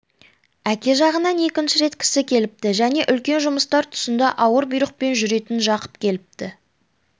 әке жағынан екінші рет кісі келіпті және үлкен жұмыстар тұсында ауыр бұйрықпен жүретін жақып келіпті